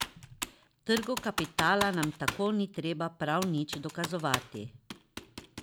Trgu kapitala nam tako ni treba prav nič dokazovati.